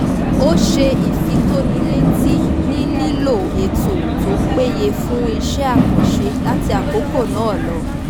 ó ṣe ìfitónilétí nílílò ètò tó péye fún iṣẹ́ àkànṣe láti àkókò náà lọ